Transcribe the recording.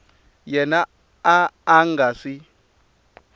yena a a nga swi